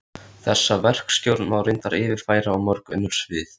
Þessa verkstjórn má reyndar yfirfæra á mörg önnur svið.